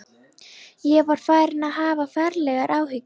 Ég var farinn að hafa ferlegar áhyggjur.